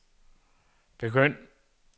begynd